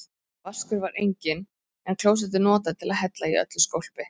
Vaskur var enginn, en klósettið notað til að hella í öllu skólpi.